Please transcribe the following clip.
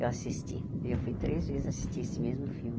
Eu assisti e eu fui três vezes assistir esse mesmo filme.